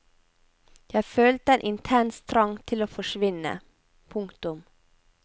Jeg følte en intens trang til å forsvinne. punktum